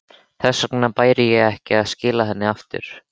Þess vegna bæri sér að skila henni aftur.